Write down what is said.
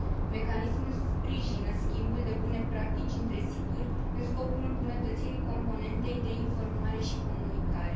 Mecanismul sprijină schimbul de bune practici între situri, în scopul îmbunătățirii componentei de informare și comunicare.